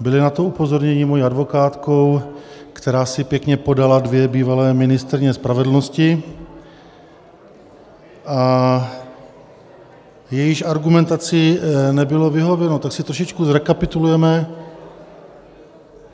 byli na to upozorněni mojí advokátkou, která si pěkně podala dvě bývalé ministryně spravedlnosti, a jejíž argumentaci nebylo vyhověno, tak si trošičku zrekapitulujeme...